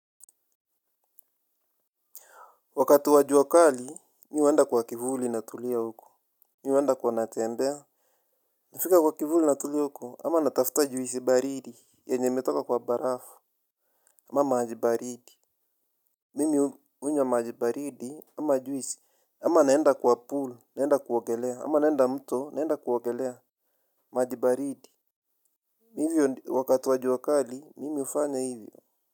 Wakati wa jua kali mi uenda kwa kivuli natulia huko. Mi uenda kwa natembea. Nafika kwa kivuli natulia huko ama natafuta juisi baridi yenye imetoka kwa barafu ama maji baridi. Mimi unywa maji baridi ama juisi ama naenda kwa pool naenda kuogelea ama naenda mto naenda kuogelea. Maji baridi mivyo wakati wa jua kali mimi ufanya hivyo.